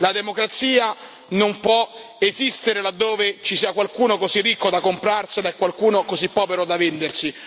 La democrazia non può esistere laddove ci sia qualcuno così ricco da comprarsela e qualcuno così povero da vendersi.